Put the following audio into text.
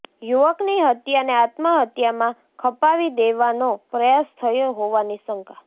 યુવકની હત્યાને આત્મહત્યામાં ખપાવી દેવાનો પ્રયાસ થયો હોવાની શંકા